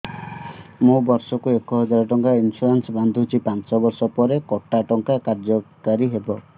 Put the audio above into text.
ମୁ ବର୍ଷ କୁ ଏକ ହଜାରେ ଟଙ୍କା ଇନ୍ସୁରେନ୍ସ ବାନ୍ଧୁଛି ପାଞ୍ଚ ବର୍ଷ ପରେ କଟା ଟଙ୍କା କାର୍ଯ୍ୟ କାରି ହେବ